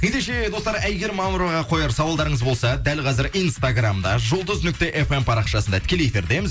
ендеше достар әйгерім мамыроваға қояр сауалдарыңыз болса дәл қазір инстаграмда жұлдыз нүкте фм парақшасында тікелей эфирдеміз